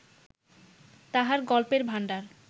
তাঁহার গল্পের ভাণ্ডার